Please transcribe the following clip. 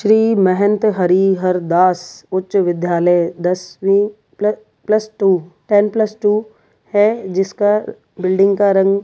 श्री महंत हरिहर दास उच्च विद्यालय दसवीं प्ल plus two ten plus two है जिसका बील्डिंग का रंग है।